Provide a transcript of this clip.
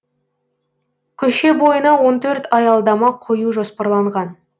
көше бойына он төрт аялдама қою жоспарланған